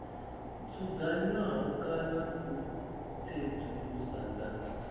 dzudzanywaho kana u tsedzuluso dza